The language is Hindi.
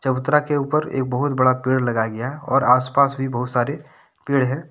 चबूतरा के ऊपर एक बहुत बड़ा पेड़ लगाया गया है और आस पास भी बहुत सारे पेड़ है।